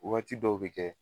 Wagati dɔw be kɛ